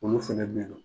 Olu fɛnɛ bɛ yen nɔ